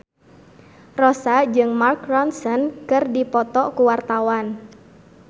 Rossa jeung Mark Ronson keur dipoto ku wartawan